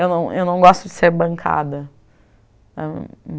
Eu não não gosto de ser bancada.